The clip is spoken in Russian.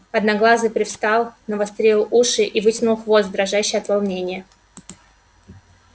одноглазый привстал навострил уши и вытянул хвост дрожащий от волнения